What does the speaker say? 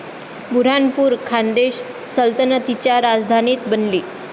बुऱ्हाणपूर खान्देश सल्तनतीची राजधानी बनली.